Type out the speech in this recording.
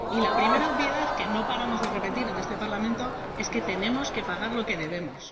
Y la primera obviedad, que no paramos de repetir en este Parlamento, es que tenemos que pagar lo que debemos.